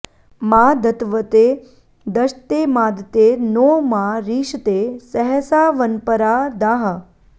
मा दत्वते दशते मादते नो मा रीषते सहसावन्परा दाः